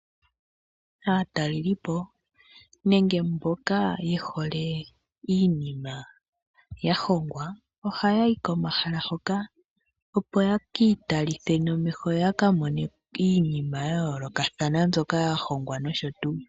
Aatalelipo nenge mboka yeholee inima yahongwa ohaya yi komahala hoka opo ye kiitalithe nomeho yo yaka mone iinima ya yolokathana mbyoka ya hongwa nosho tuu.